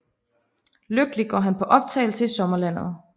Lykkelig går han på opdagelse i sommerlandet